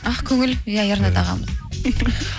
ақкөңіл иә ернат ағамыз